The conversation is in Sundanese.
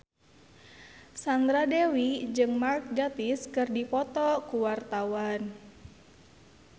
Sandra Dewi jeung Mark Gatiss keur dipoto ku wartawan